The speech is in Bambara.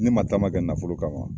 Ne ma taama kɛ nafolo kama